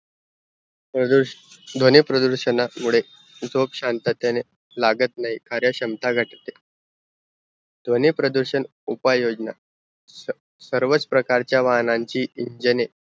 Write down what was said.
ध्वनी प्रदूरषणा मुड़े झोप शांततेने लगत नाहीं कार्य क्षमता गत ध्वनी प्रदूषण उपाय योजना स सर्वच प्रकारच्या वाहनान ची